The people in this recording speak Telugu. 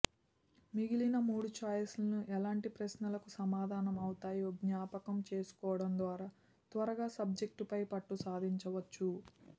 మిగిలిన మూడు ఛాయిస్లు ఎలాంటి ప్రశ్నలకు సమాధానం అవుతాయో జ్ఞాపకం చేసుకోవడం ద్వారా త్వరగా సబ్జెక్టుపై పట్టు సాధించవచ్చు